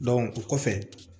o kɔfɛ